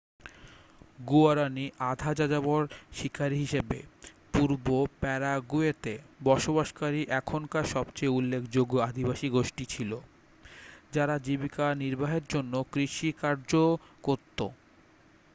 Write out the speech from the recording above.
guaraní আধা-যাযাবর শিকারি হিসাবে পূর্ব প্যারাগুয়েতে বসবাসকারী এখনকার সবচেয়ে উল্লেখযোগ্য আদিবাসী গোষ্ঠী ছিল যারা জীবিকা নির্বাহের জন্য কৃষিকার্যও করত।